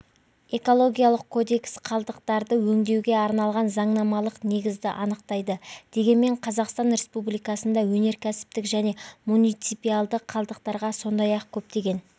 экологиялық кодекс қалдықтарды өңдеуге арналған заңнамалық негізді анықтайды дегенмен қазақстан республикасында өнеркәсіптік және муниципиалды қалдықтарға сондай-ақ көптеген